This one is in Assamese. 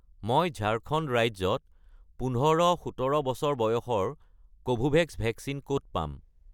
মই ঝাৰখণ্ড ৰাজ্যত ১৫-১৭ বছৰ বয়সৰ কোভোভেক্স ভেকচিন ক'ত পাম?